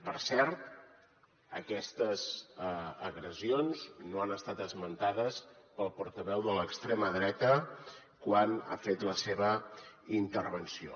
per cert aquestes agressions no han estat esmentades pel portaveu de l’extrema dreta quan ha fet la seva intervenció